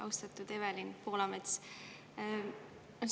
Austatud Evelin Poolamets!